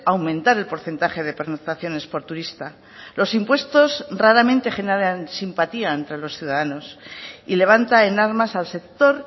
aumentar el porcentaje de pernoctaciones por turista los impuestos raramente generan simpatía entre los ciudadanos y levanta en armas al sector